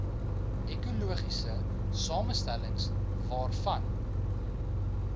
ekologiese samestellings waarvan